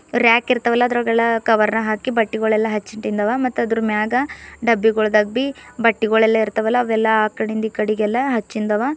ರ್ಯಾಕಿರ್ತವಲ್ಲ ಅದರೊಳಗೆಲ್ಲ ಕವರ್ನ ಹಾಕಿ ಬಟ್ಟೆಗಳೆಲ್ಲ ಹಚ್ಚಿಟ್ಟಿಂದವ ಮತ್ತ್ ಆದ್ರು ಮ್ಯಾಗ ಡಬ್ಬಿಗೊಳು ಡಬ್ಬಿ ಬಟ್ಟೆಗಳೆಲ್ಲ ಇರ್ತವಲ್ಲ ಅವೆಲ್ಲ ಆಕಡಿಂದ ಈ ಕಡಿಗೆಲ್ಲ ಅಚ್ಚಿಂದವ.